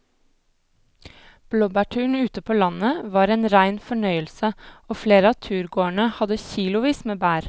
Blåbærturen ute på landet var en rein fornøyelse og flere av turgåerene hadde kilosvis med bær.